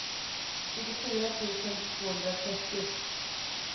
tjugofyra tusen tvåhundratrettio